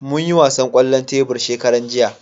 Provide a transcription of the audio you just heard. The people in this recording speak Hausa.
Mun yi wasan kwallon tebur shekaran jiya